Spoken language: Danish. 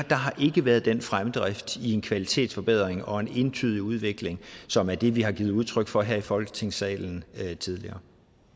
været den fremdrift i en kvalitetsforbedring og i en entydig udvikling som er det vi har givet udtryk for her i folketingssalen tidligere